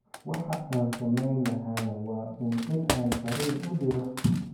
Waxa aan samayn lahaana waa uun in aan farriin u diro.